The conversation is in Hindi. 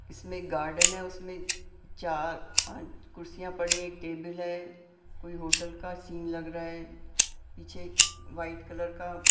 इसमें एक गार्डन है उसमें चार-पांच कुर्सियां पड़ी हैं एक टेबल है कोई होटल का सीन लग रहा है पीछे वाइट कलर का--